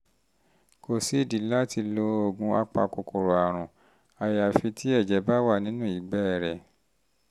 kò sídìí láti lo oògùn apakòkòrò àrùn àyàfi tí um ẹ̀jẹ̀ bá wà nínú ìgbẹ́ rẹ̀